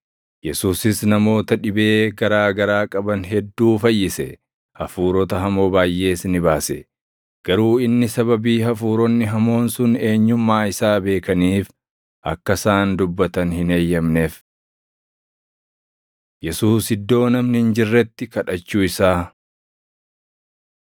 Yesuusis namoota dhibee garaa garaa qaban hedduu fayyise; hafuurota hamoo baayʼees ni baase; garuu inni sababii hafuuronni hamoon sun eenyummaa isaa beekaniif akka isaan dubbatan hin eeyyamneef. Yesuus Iddoo Namni Hin Jirretti Kadhachuu Isaa 1:35‑38 kwf – Luq 4:42,43